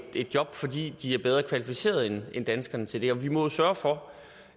et job fordi de er bedre kvalificerede end danskerne til det og vi må jo sørge for